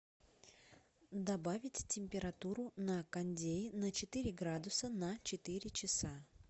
добавить температуру на кондее на четыре градуса на четыре часа